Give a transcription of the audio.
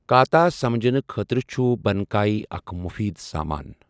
کاتا سمجھنہٕ خٲطرٕ چھُ بنکائی اکھ مُفیٖد سامان۔